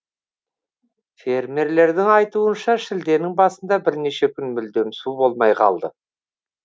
фермерлердің айтуынша шілденің басында бірнеше күн мүлдем су болмай қалды